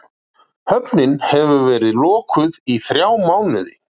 Höfnin verið lokuð í þrjá mánuði